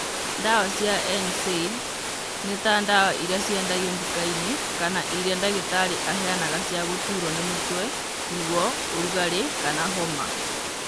Ndawa cia NSAIDs nĩta ndawa irĩa ciendagio nduka-inĩ kana irĩa ndagitari aheana cia gũturwo nĩ mũtwe, ruo, ũrugarĩ, kana homa